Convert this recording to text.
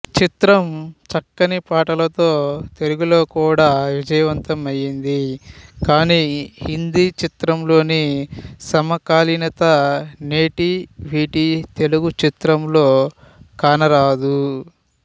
చిత్రం చక్కని పాటలతో తెలుగులో కూడా విజయవంతమయ్యింది కాని హిందీ చిత్రంలోని సమకాలీనత నేటివిటి తెలుగుచిత్రంలో కనరాదు